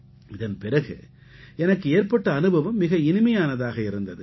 இதன் பிறகு எனக்கு ஏற்பட்ட அனுபவம் மிக இனிமையானதாக இருந்தது